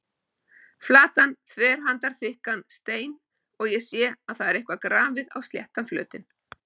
Flatan þverhandarþykkan stein og ég sé að það er eitthvað grafið á sléttan flötinn.